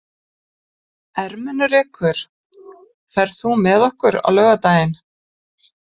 Ermenrekur, ferð þú með okkur á laugardaginn?